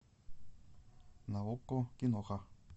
на окко киноха